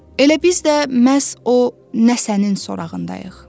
Elə biz də məhz o nəsənin sorağındayıq.